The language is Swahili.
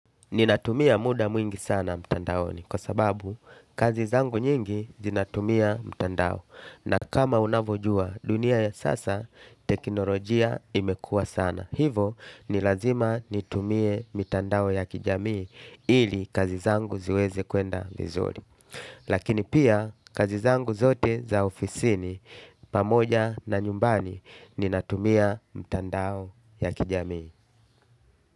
Ninatumia muda mwingi sana mtandaoni kwa sababu kazi zangu nyingi zinatumia mtandao na kama unavojua dunia ya sasa teknolojia imekua sana. Hivo ni lazima nitumie mitandao ya kijamii ili kazi zangu ziweze kwenda vizuri. Lakini pia kazi zangu zote za ofisini pamoja na nyumbani ninatumia mtandao ya kijamii.